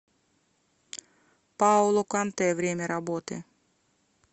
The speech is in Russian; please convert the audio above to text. паоло контэ время работы